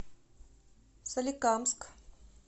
соликамск